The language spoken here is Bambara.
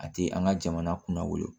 A tɛ an ka jamana kunna wolo